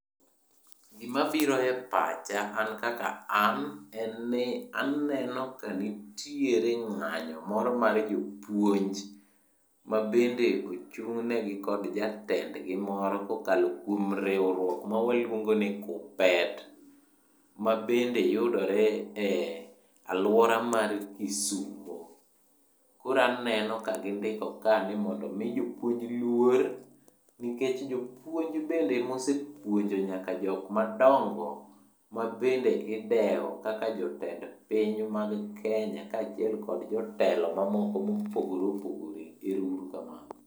Gimabiro e pacha an kaka an, en ni aneno kanitiere ng'anyo moro mar jopuonj. Mabende ochung'negi kod jatendgi moro kokalo kuom riwruok moro mwaluongoni KUPPET, ma bende yudore e alwora mar Kisumo. Koraneno ka gindiko ka ni mondo mi jopuonj luor, nikech jopuonj bende omesepuonjo jok madongo midewo kaka jotend piny mag Kenya kaachiel kod jotelo mamoko mopogore opogore. Ero uru kamano.